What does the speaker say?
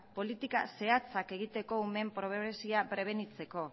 politika zehatzak egiteko umeen pobrezia prebenitzeko